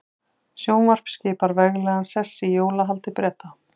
Sjónvarp skipar veglegan sess í jólahaldi Breta.